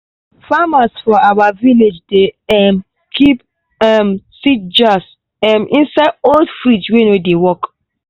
farmers for our village dey um keep um seed jars um inside old fridge wey no dey work.